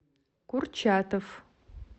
курчатов